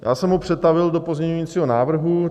Já jsem ho přetavil do pozměňovacího návrhu.